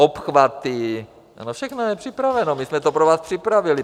Obchvaty, ano, všechno je připraveno, my jsme to pro vás připravili.